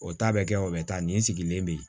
O ta bɛ kɛ o bɛ taa nin sigilen bɛ yen